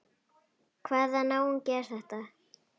Hvaða náungi er þetta?